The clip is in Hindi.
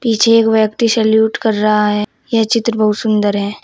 पीछे एक व्यक्ति सेल्यूट कर रहा है यह चित्र बहुत सुंदर है।